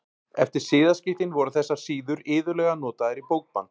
Eftir siðaskiptin voru þessar síður iðulega notaðar í bókband.